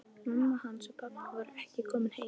Mamma hans og pabbi voru ekki komin heim.